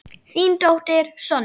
Þín dóttir, Sonja.